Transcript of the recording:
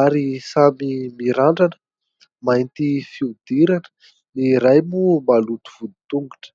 ary samy mirandrana. Mainty fihodirana, ny iray moa maloto vody tongotra.